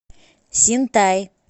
синтай